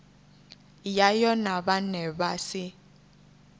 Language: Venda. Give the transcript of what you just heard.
yayo na vhane vha si